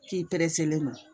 K'i pereselen don